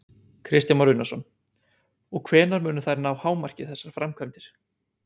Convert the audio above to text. Kristján Már Unnarsson: Og hvenær munu þær ná hámarki, þessar framkvæmdir?